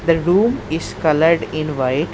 The room is coloured in white.